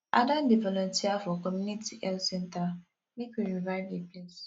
i don dey volunteer for community health center make we revive di place